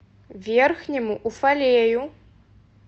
верхнему уфалею